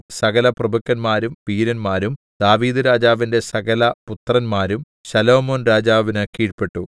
സകലപ്രഭുക്കന്മാരും വീരന്മാരും ദാവീദ്‌രാജാവിന്റെ സകലപുത്രന്മാരും ശലോമോൻ രാജാവിന് കീഴ്പെട്ടു